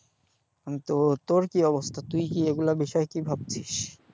এখন তো তোর কি অবস্থা, তুই কি এগুলোর বিষয়ে কি ভাবছিস?